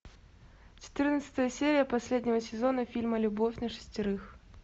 четырнадцатая серия последнего сезона фильма любовь на шестерых